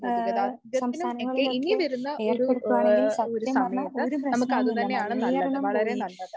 ആഹ് സംസ്ഥാനങ്ങളിലൊക്കെ ഏർപ്പെടുത്തുവാണെങ്കിൽ സത്യം പറഞ്ഞാൽ ഒരു പ്രശ്നവുമില്ല മലിനീകരണം പോയി